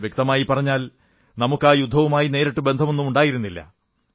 വ്യക്തമായി പറഞ്ഞാൽ നമുക്ക് ആ യുദ്ധവുമായി നേരിട്ട് ബന്ധമൊന്നുമുണ്ടായിരുന്നില്ല